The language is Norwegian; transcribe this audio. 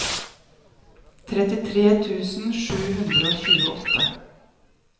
trettitre tusen sju hundre og tjueåtte